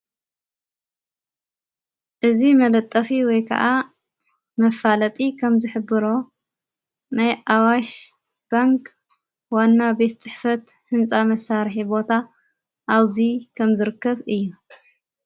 እዝ መለጠፊ ወይ ከዓ መፋለጢ ኸም ዝኅብሮ ናይ ኣዋሽ ባንግ ዋና ቤት ጽሕፈት ሕንፃ መሣርሒ ቦታ ኣውዙይ ከም ዝርከብ እዩ።